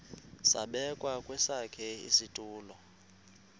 zabekwa kwesakhe isitulo